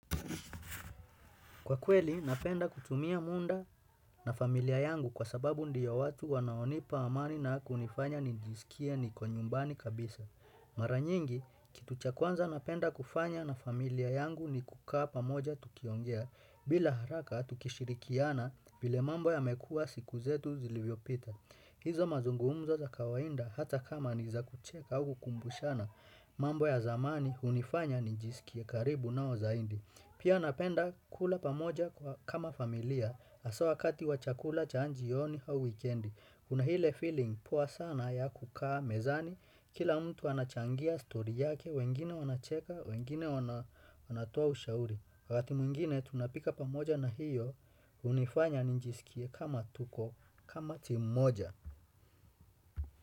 Kwa kweli, napenda kutumia muda na familia yangu kwa sababu ndiyo watu wanaonipa amani na kunifanya nijisikia niko nyumbani kabisa. Maranyingi, kitu cha kwanza napenda kufanya na familia yangu ni kukaa pamoja tukiongea bila haraka tukishirikiana vile mambo yamekua siku zetu zilizo pita. Hizo mazungumzo za kawaida hata kama niza kucheka au kukumbushana mambo ya zamani unifanya nijisikia karibu nao zaidi. Pia napenda kula pamoja kama familia asa wakati wa chakula cha jioni au wikiendi. Kuna ile filing poa sana ya kukaa mezani. Kila mtu anachangia story yake, wengine wanacheka, wengine wanatoa ushauri. Wati mwingine tunapika pamoja na hiyo unifanya ninjisikie kama tuko, timu moja.